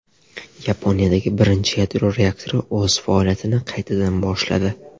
Yaponiyada birinchi yadro reaktori o‘z faoliyatini qaytadan boshladi .